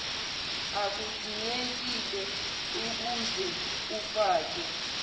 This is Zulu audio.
akudingekile uze ufake